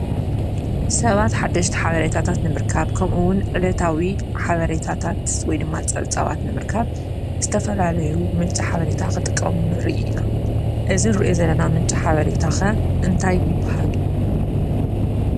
ሰባት ሓደሽቲ ሓበሬታታት ንምርካብ ከምኡ እዉን ዕለታዊ ሓበሬታታት ወይ ድማ ፀብፃባት ንምርካብ ዝተፈላለዩ ምንጪ ሓበሬታ ክጥቀሙ ንርኢ ኢና። እዚ እንሪኦ ዘለና ምንጪ ሓበሬታ ኸ እንታይ ይብሃል?